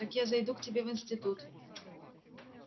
так я зайду к тебе в институт